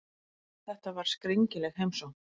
Þetta var skringileg heimsókn.